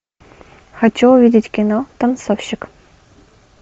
хочу увидеть кино танцовщик